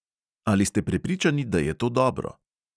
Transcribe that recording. Ali ste prepričani, da je to dobro?